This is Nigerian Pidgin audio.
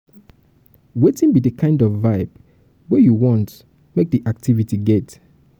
wetin be di kind of vibe wey um you want um make di activity get